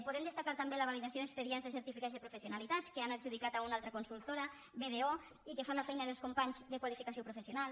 podem destacar també la validació d’expedients de certificats de professionalitat que han adjudicat a una altra consultora bdo i que fan la feina dels companys de qualificació professional